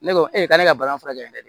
Ne ko e k'ale ka balan furakɛ dɛ